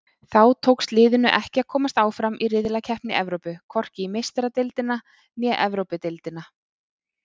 Þá tókst liðinu ekki að komast áfram í riðlakeppni Evrópu, hvorki í Meistaradeildina né Evrópudeildina.